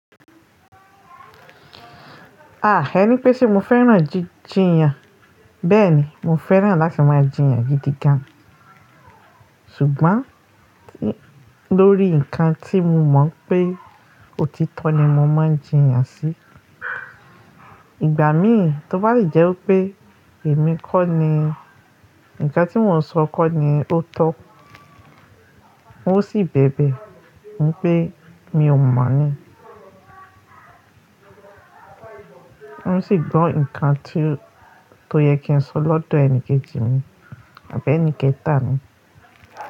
Ah ẹ ní pé ṣe mo fẹ́ràn jí-jìyàn? Bẹ́ẹ̀ni, mo fẹ́ràn láti máa jìyàn gidi gan. Ṣùgbọ́n lórí ǹkan tí mo mọ̀ pé òtítọ́ ni mo máa ń jìyàn sí. Ìgbà mí tó bá rí jẹ́ wípé èmi kọ́ ni, ǹkan tí mò ń sọ kọ́ ni ó tọ́, n ó sì bẹ̀bẹ̀ wípé mi ò mọ̀ ni. N sì gbọ́ ǹkan tí, tó yẹ kí n sọ lọ́dọ̀ ẹnikẹ́ji mi àbí ẹnikẹ́ta ni.